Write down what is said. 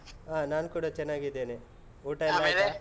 ಹಾ. ನಾನ್ ಕೂಡ ಚೆನ್ನಾಗಿದ್ದೇನೆ. ಊಟ .